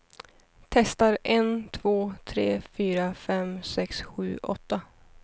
Testar en två tre fyra fem sex sju åtta.